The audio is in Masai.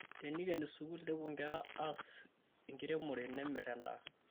Tenekieni sukul nepuo nkera ass enkiremore nemer endaa